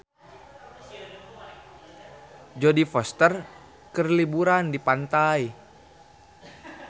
Jodie Foster keur liburan di pantai